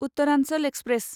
Uttaranchal express